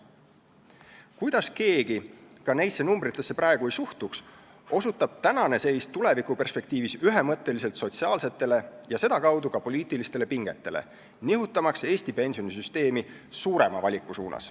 Kuidas keegi ka neisse suhtarvudesse ei suhtuks, osutab praegune seis tulevikuperspektiivis ühemõtteliselt sotsiaalsetele ja sedakaudu ka poliitilistele pingetele, nihutamaks Eesti pensionisüsteemi suurema valiku poole.